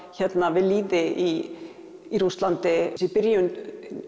við lýði í Rússlandi í byrjun